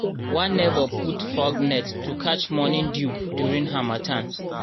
one neighbour put fog net to catch morning dew during harmattan.